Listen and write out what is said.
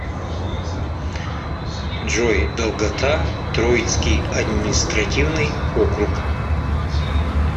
джой долгота троицкий административный округ